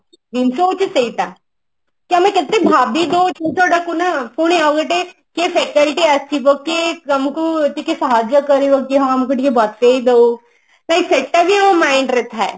ଜିନିଷ ହଉଛି ସେଇଟା ଆମେ କେତେ ଭାବି ଦଉ ଜିନିଷ ଟା କୁ ନା ପୁଣି ଆଉ ଗୋଟେ କିଏ faculty ଆସିବ କିଏ ତମକୁ ଟିକେ ସାହାଯ୍ୟ କରିବ କି ହଁ ଆମକୁ ଟିକେ ବତେଇ ଦଉ ତ ସେଟା ବି ମୋ mind ରେ ଥାଏ